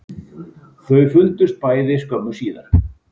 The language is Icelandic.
Þau fundust bæði skömmu síðar